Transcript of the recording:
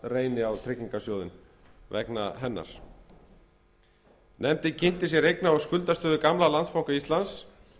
reyni á tryggingarsjóðinn vegna hennar nefndin kynnti sér eigna og skuldastöðu gamla landsbanka íslands